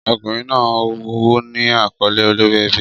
Ọkùnrin náà ní àkọ́lé olórí ẹbí.